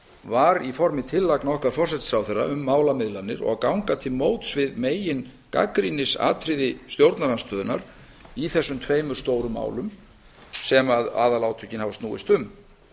var í formi tillagna okkar forsætisráðherra um málamiðlanir og að gagna til móts við megin gagnrýnisatriði stjórnarandstöðunnar í þessum tveimur stóru málum sem aðalátökin hafa snúist um